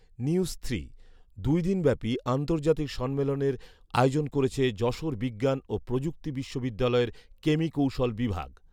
নিউজথ্রি, দুই দিনব্যাপী আন্তর্জাতিক সম্মেলনের আয়োজন করেছে যশোর বিজ্ঞান ও প্রযুক্তি বিশ্ববিদ্যালয়ের কেমিকৌশল বিভাগ